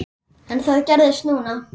En það gerðist núna.